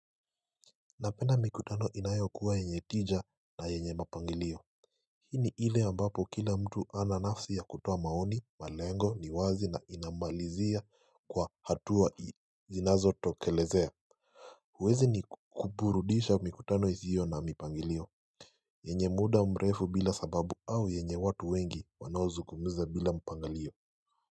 Napenda mikutano inayokuwa yenye tija na yenye mapangilio Hii ni ile ambapo kila mtu ana nafsi ya kutoa maoni malengo ni wazi na inamalizia kwa hatua zinazotokelezea huwezi ni kuburudisha mikutano hiyo na mipangilio yenye muda mrefu bila sababu au yenye watu wengi wanaozungumza bila mpangilio.